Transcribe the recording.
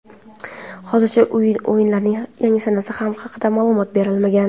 Hozircha o‘yinlarning yangi sanasi haqida ma’lumot berilmagan.